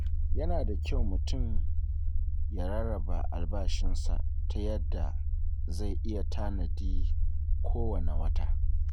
Yana da kyau mutum ya rarraba albashinsa ta yadda zai iya tanadi kowane wata.